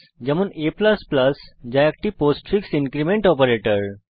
যেমন a যা একটি পোস্টফিক্স ইনক্রীমেন্ট অপারেটর